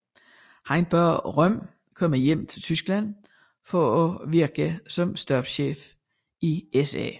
Han bad Röhm komme hjem til Tyskland for at virke som stabschef i SA